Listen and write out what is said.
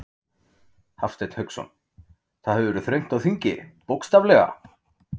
Hafsteinn Hauksson: Það hefur verið þröngt á þingi, bókstaflega?